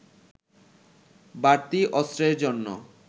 বাড়তি অস্ত্রের জন্য